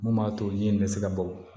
Mun b'a to ji in bɛ se ka bɔ